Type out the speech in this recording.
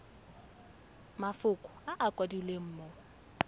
mafoko a a kwadilweng mo